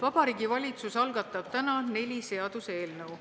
Vabariigi Valitsus algatab täna neli seaduseelnõu.